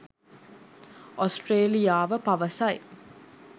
ඔස්ට්‍රේලියාව පවසයි